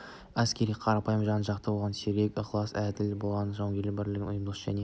әскерден қарапайым жан жоқ оған сергек те ықыласты әрі әділ болған жон жауынгерлік бірлігін ұйымшылдығын және